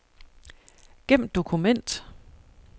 Gem dokument.